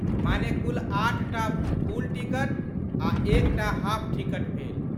माने कुल आठटा फुल टिकट आ एकटा हाफ टिकट भेल।